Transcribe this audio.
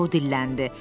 Co dilləndi.